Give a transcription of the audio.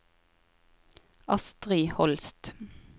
Astri Holst